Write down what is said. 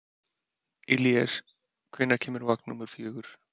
Illíes, hvenær kemur vagn númer fjögur?